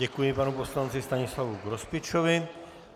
Děkuji panu poslanci Stanislavu Grospičovi.